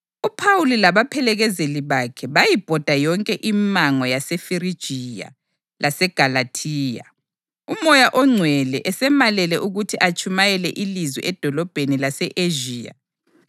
UPhawuli labaphelekezeli bakhe bayibhoda yonke imango yaseFirigiya laseGalathiya, uMoya oNgcwele esemalele ukuthi atshumayele ilizwi edolobheni lase-Ezhiya.